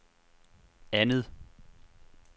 andet